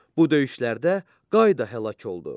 Bu döyüşlərdə Qay da həlak oldu.